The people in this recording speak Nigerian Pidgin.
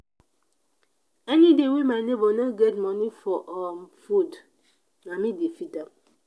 anyday wey my nebor no get moni for um food na me dey feed am.